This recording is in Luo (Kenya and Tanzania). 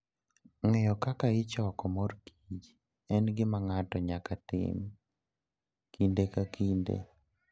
Ng'eyo kaka ichoko mor kich en gima ng'ato nyaka tim kinde ka kinde.